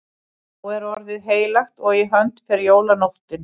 Þá er orðið heilagt og í hönd fer jólanóttin.